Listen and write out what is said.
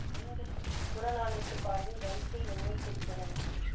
எண்கள் புறநானூற்றுப் பாடலின் வரிசை எண்ணை குறிப்பன